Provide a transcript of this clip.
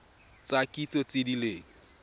tsa kitso tse di leng